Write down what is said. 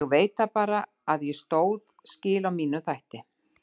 Ég veit það bara að ég stóð skil á mínum þætti.